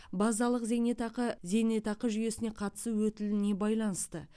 базалық зейнетақы зейнетақы жүйесіне қатысу өтіліне байланысты